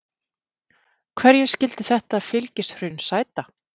Hverju skyldi þetta fylgishrun sæta?